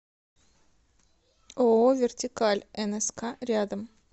ооо вертикаль нск рядом